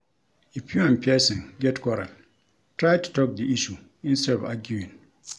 If you and person get quarrel try to talk di issue instead of arguing